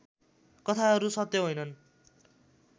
कथाहरू सत्य होइनन्